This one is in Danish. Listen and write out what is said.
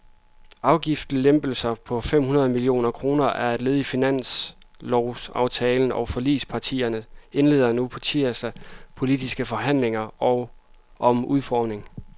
Afgiftslempelsen på fem hundrede millioner kroner er led i finanslovsaftalen, og forligspartierne indleder på tirsdag politiske forhandlinger om udformningen.